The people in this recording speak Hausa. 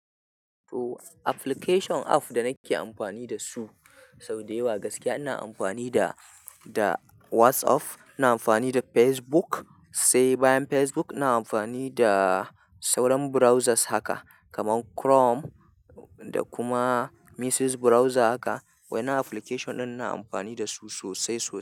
To application app da nake amfani da su sau da yawa gaskiya ina amfani da, da WhatsApp, ina amfani da Facebook, sai bayan Facebook ina amfani da sauran browsers haka kamar Chrome da kuma Mrs browser haka. Wai na application ɗin ina amfani da su sosai sosai.